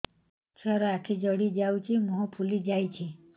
ଛୁଆର ଆଖି ଜଡ଼ି ଯାଉଛି ମୁହଁ ଫୁଲି ଯାଇଛି